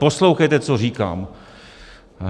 Poslouchejte, co říkám!